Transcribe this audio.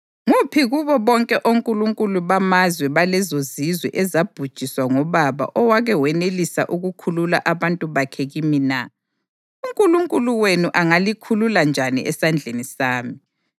Nguphi kubo bonke onkulunkulu bamazwe balezozizwe ezabhujiswa ngobaba owake wenelisa ukukhulula abantu bakhe kimi na? UNkulunkulu wenu angalikhulula njani esandleni sami?